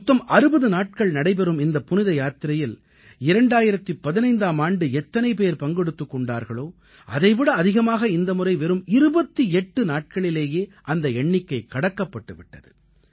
மொத்தம் 60 நாட்கள் நடைபெறும் இந்தப் புனித யாத்திரையில் 2015ஆம் ஆண்டு எத்தனை பேர் பங்கெடுத்துக் கொண்டார்களோ அதைவிட அதிகமாக இந்த முறை வெறும் 28 நாட்களிலேயே அந்த எண்ணிக்கை கடக்கப்பட்டு விட்டது